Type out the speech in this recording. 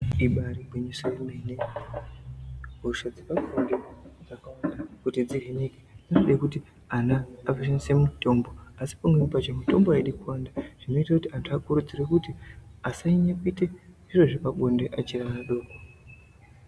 Ibari gwinyiso yemene hosha dzepabonde dzakawanda kuti dzihinike zvinode kuti ana ashandise mutombo asi pamweni pacho mitombo aidi kuwanda zvinoita kuti anthu akurudzirwe kuti asanyanya kuita zvepabonde achiri ana adoko.